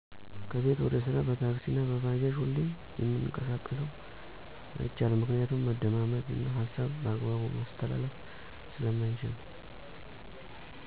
ከቤት ወደ ስራ በታክሲ አና በባጃጅ ሁሌም የምንቀሳቀሰው። አይቻልም ምክንያቱም መደማመጥ እና ሀሳብ በአግባቡ ማስተላለፍ ስለማይቻል